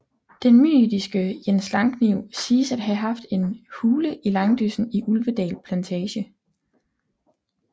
Den mytiske Jens Langkniv siges at have haft en hule i langdyssen i Ulvedal plantage